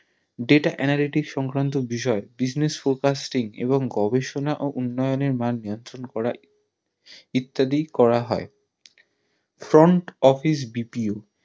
Data analytics সংক্রান্ত বিষয় Business forecasting এবং গবেষণা এবং উন্নয়নের মান নিয়ন্ত্রণ করা ইত্যাদি করা হয় Front OfficeBPO